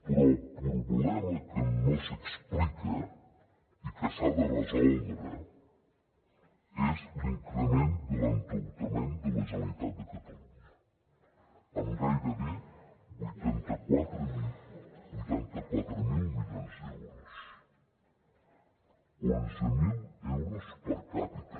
però el problema que no s’explica i que s’ha de resoldre és l’increment de l’endeutament de la generalitat de catalunya amb gairebé vuitanta quatre mil milions d’euros onze mil euros per capita